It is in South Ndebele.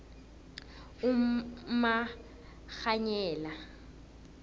umakghwanyela